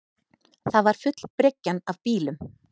Það var full bryggjan af bílum